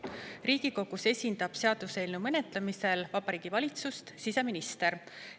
Riigikogus esindab seaduseelnõu menetlemisel Vabariigi Valitsust siseminister.